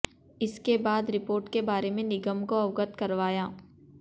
इसके बाद रिपोर्ट के बारे में निगम को अवगत करवाया